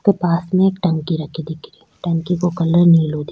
पास में एक टंकी रखे दिख री टंकी का कलर नीलो दिख --